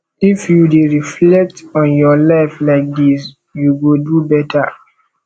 if you dey reflect on your life like dis you go do beta